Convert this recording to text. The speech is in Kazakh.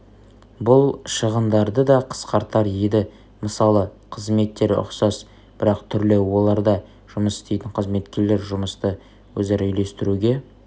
бұл шығындарды да қысқартар еді мысалы қызметтері ұқсас бірақ түрлі оларда жұмыс істейтін қызметкерлер жұмысты өзара үйлестіруге